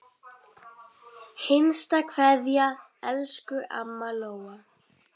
HINSTA KVEÐJA Elsku amma Lóa.